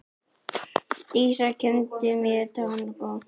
Dísa kenndi mér tangó.